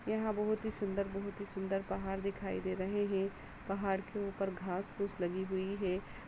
यहाँ बहुत ही सुंदर बहुत ही सुंदर पहाड़ दिखाई दे रहे है पहाड़ के ऊपर घास फूस लगी हुई है।